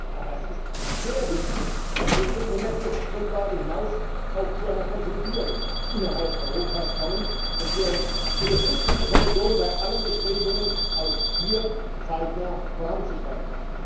Aber es ist sehr wichtig, dass wir über die Bemessungsgrundlage hinaus auch zu einer Konsolidierung innerhalb Europas kommen, und wir unterstützen die Kommission bei allen Bestrebungen, auch hier zeitnah voranzuschreiten.